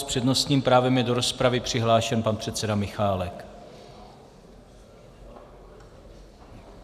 S přednostním právem je do rozpravy přihlášen pan předseda Michálek.